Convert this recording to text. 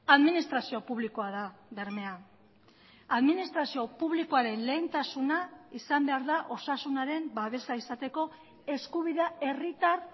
administrazio publikoa da bermea administrazio publikoaren lehentasuna izan behar da osasunaren babesa izateko eskubidea herritar